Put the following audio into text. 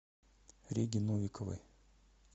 реги новиковой